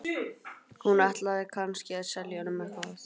Hún ætlaði kannski að selja honum eitthvað.